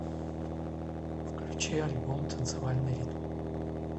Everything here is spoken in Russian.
включи альбом танцевальный ритм